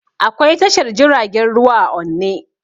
Akwai tashar jiragen ruwa a onne